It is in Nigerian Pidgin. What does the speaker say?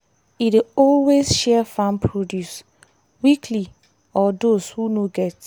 e dey always share farm produce weekly or dose who no get